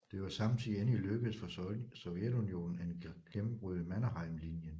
Det var samtidig endelig lykkedes for Sovjetunionen at gennembryde Mannerheimlinjen